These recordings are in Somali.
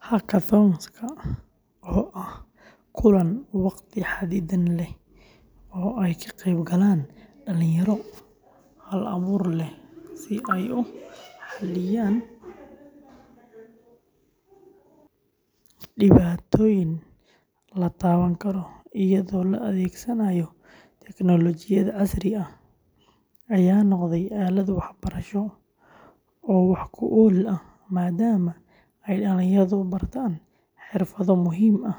Hackathons-ka, oo ah kulan wakhti xaddidan leh oo ay ka qayb galaan dhalinyaro hal-abuur leh si ay u xalliyaan dhibaatooyin la taaban karo iyadoo la adeegsanayo tignoolajiyad casri ah, ayaa noqday aalad waxbarasho oo wax ku ool ah maadaama ay dhalinyaradu bartaan xirfado muhiim ah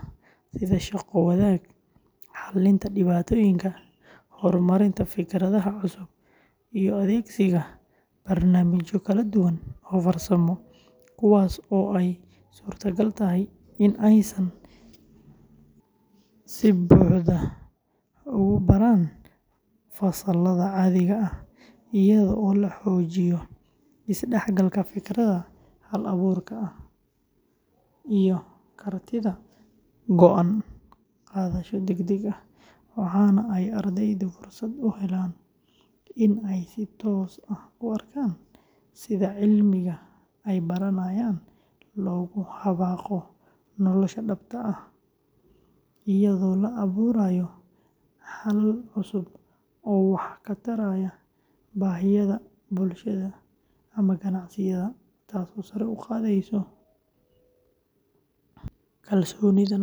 sida shaqo-wadaag, xallinta dhibaatooyinka, horumarinta fikradaha cusub, iyo adeegsiga barnaamijyo kala duwan oo farsamo, kuwaas oo ay suurtagal tahay in aysan si buuxda ugu baran fasallada caadiga ah, iyadoo la xoojiyo isdhexgalka, fikirka hal-abuurka ah, iyo kartida go’aan qaadasho degdeg ah, waxana ay ardaydu fursad u helaan in ay si toos ah u arkaan sida cilmiga ay baranayaan loogu dabaqo nolosha dhabta ah, iyadoo la abuurayo xalal cusub oo wax ka taraya baahiyaha bulshada ama ganacsiyada, taasoo sare u qaadaysa kalsoonida naftooda.